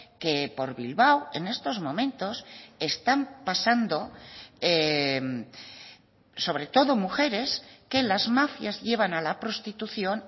que por bilbao en estos momentos están pasando sobre todo mujeres que las mafias llevan a la prostitución